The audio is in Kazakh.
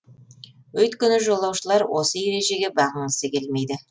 өйткені жолаушылар осы ережеге бағынғысы келмейді